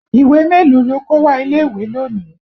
Ìwé mélòó lo kó wá ilé ìwé lónìí?